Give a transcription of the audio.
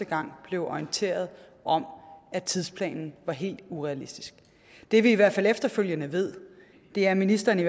gang blev orienteret om at tidsplanen var helt urealistisk det vi i hvert fald efterfølgende ved er at ministeren